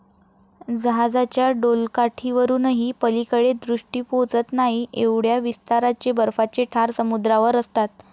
जहाजाच्या डोलकाठीवरूनही पलीकडे दृष्टी पोचत नाही एवढ्या विस्ताराचे बर्फाचे ठार समुद्रावर असतात.